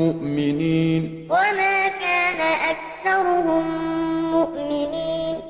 مُّؤْمِنِينَ إِنَّ فِي ذَٰلِكَ لَآيَةً ۖ وَمَا كَانَ أَكْثَرُهُم مُّؤْمِنِينَ